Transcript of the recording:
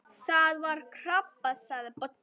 Það var krabbi sagði Böddi.